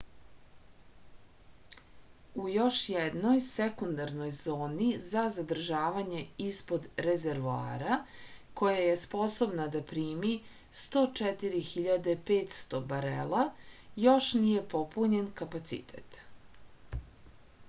u još jednoj sekundarnoj zoni za zadržavanje ispod rezervoara koja je sposobna da primi 104.500 barela još nije popunjen kapacitet